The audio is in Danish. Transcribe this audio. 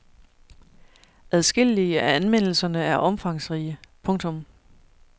Adskillige af anmeldelserne er omfangsrige. punktum